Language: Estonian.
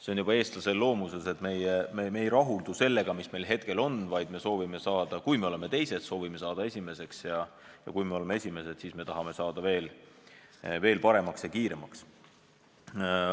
See on juba eestlase loomuses, et me ei rahuldu sellega, mis meil on, vaid kui me oleme teised, siis soovime saada esimeseks, ja kui me oleme esimesed, siis tahame saada veel paremaks ja kiiremaks.